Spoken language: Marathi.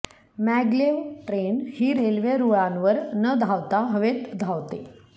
मॅग्लेव ट्रेन ही रेल्वे रूळांवर न धावता हवेत धावते